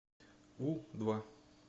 у два